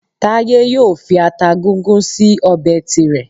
Táyé yóò fi ata gúngún sí ọbẹ̀ tirẹ̀